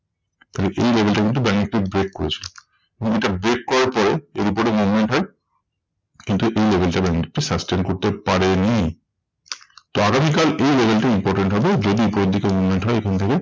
তাহলে এই level টা কিন্তু ব্যাঙ্ক নিফটি break করেছিল। এবং এটা break করার পরে এর উপরে movement হয়ে কিন্তু এই level টা ব্যাঙ্ক নিফটি sustain করতে পারেনি। তো আগামী কাল এই level টি important হবে, যদি উপরের দিকে movement হয় এখান থেকে